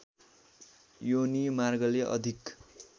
योनि मार्गले अधिक